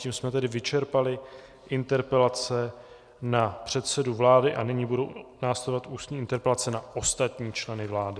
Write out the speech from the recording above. Tím jsme tedy vyčerpali interpelace na předsedu vlády a nyní budou následovat ústní interpelace na ostatní členy vlády.